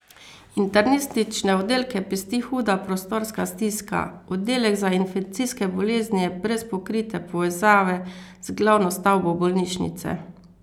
Internistične oddelke pesti huda prostorska stiska, oddelek za infekcijske bolezni je brez pokrite povezave z glavno stavbo bolnišnice.